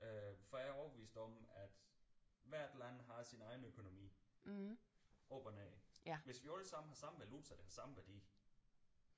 Øh for jeg er overbevist om at hvert land har sin egen økonomi op og ned hvis vi alle sammen har samme valuta den samme værdi